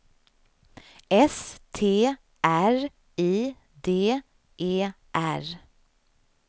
S T R I D E R